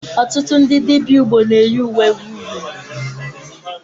Ọtụtụ ndị dibịa Igbo na eyi uwe uhie uhiè.